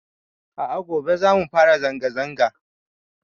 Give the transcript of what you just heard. A'a gobe zamu fara zanga zanga